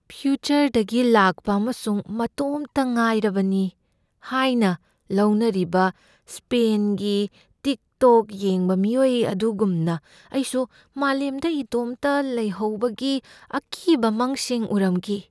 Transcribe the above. ꯐ꯭ꯌꯨꯆꯔꯗꯒꯤ ꯂꯥꯛꯄ ꯑꯃꯁꯨꯡ ꯃꯇꯣꯝꯇ ꯉꯥꯏꯔꯕꯅꯤ ꯍꯥꯏꯅ ꯂꯧꯅꯔꯤꯕ ꯁ꯭ꯄꯦꯟꯒꯤ ꯇꯤꯛꯇꯣꯛ ꯌꯦꯡꯕ ꯃꯤꯑꯣꯏ ꯑꯗꯨꯒꯨꯝꯅ ꯑꯩꯁꯨ ꯃꯥꯂꯦꯝꯗ ꯏꯇꯣꯝꯇ ꯂꯩꯍꯧꯕꯒꯤ ꯑꯀꯤꯕ ꯃꯪꯁꯤꯡ ꯎꯔꯝꯈꯤ꯫